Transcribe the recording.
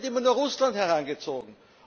Aber es wird immer nur Russland herangezogen.